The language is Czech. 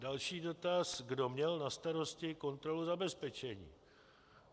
Další dotaz, kdo měl na starosti kontrolu zabezpečení.